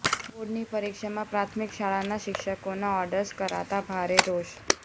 બોર્ડની પરીક્ષામાં પ્રાથમિક શાળાના શિક્ષકોના ઓર્ડર્સ કરાતા ભારે રોષ